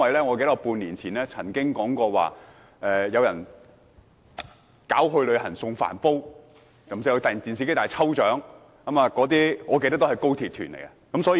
我記得半年前曾經說過，有人舉辦"旅行送電飯煲"、"電視機大抽獎"等活動，印象中還有高鐵旅行團。